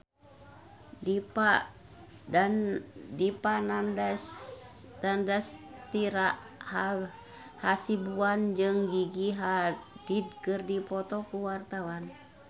Dipa Nandastyra Hasibuan jeung Gigi Hadid keur dipoto ku wartawan